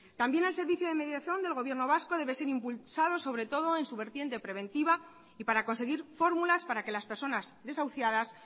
también el servicio de mediación del gobierno vasco debe ser impulsado sobre todo en su vertiente preventiva y para conseguir fórmulas para que las personas desahuciadas